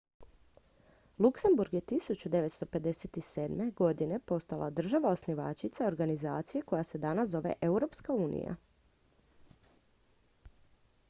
luksemburg je 1957. postala država osnivačica organizacije koja se danas zove europska unija